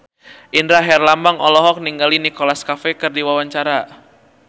Indra Herlambang olohok ningali Nicholas Cafe keur diwawancara